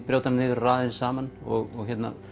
brjóta hana niður og raða henni saman og